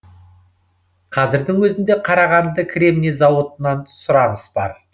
қазірдің өзінде қарағанды кремний зауытынан сұраныс бар